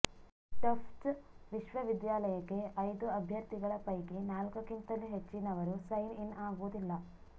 Tufts ವಿಶ್ವವಿದ್ಯಾಲಯಕ್ಕೆ ಐದು ಅಭ್ಯರ್ಥಿಗಳ ಪೈಕಿ ನಾಲ್ಕು ಕ್ಕಿಂತಲೂ ಹೆಚ್ಚಿನವರು ಸೈನ್ ಇನ್ ಆಗುವುದಿಲ್ಲ